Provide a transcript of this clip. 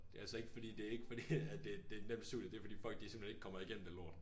Det altså ikke fordi det ikke fordi det det et nemt studie det fordi folk de simpelthen ikke kommer i gennem det lort